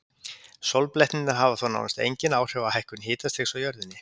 sólblettirnir hafa þó nánast engin áhrif á hækkun hitastigs á jörðunni